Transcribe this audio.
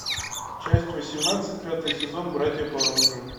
часть восемнадцать пятый сезон братья по оружию